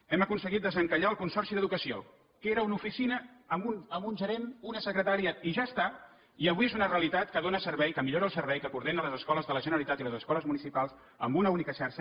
hem aconseguit desencallar el consorci d’educació que era una oficina amb un gerent una secretària i ja està i avui és una realitat que dóna servei que millora el servei que coordina les escoles de la generalitat i les escoles municipals en una única xarxa